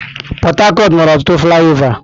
Port Harcourt nwere ọtụtụ flaịọvá.